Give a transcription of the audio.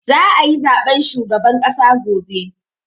Za a yi zaben shugaban ƙasa gobe.